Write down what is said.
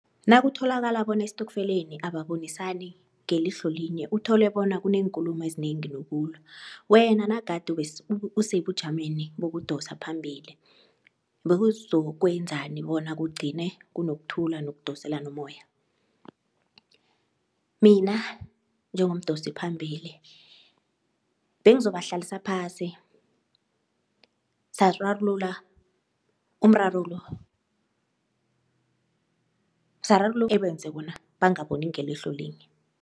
Nakutholakala bona estokfeleni ababonisani ngelihlo linye uthole bona kuneenkulumo ezinengi nokulwa, wena nagade usebujameni bokudosa phambili bewuzokwenzani bona kugcine kunokuthula nokudoselana umoya? Mina njengomdosi phambili bengizobahlalisa phasi sararulula umraro lo obenze bona bangaboni ngelihlo linye.